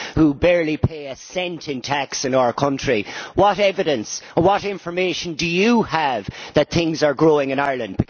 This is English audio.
which barely pay a cent in tax in our country, what evidence, what information, do you have that things are growing in Ireland?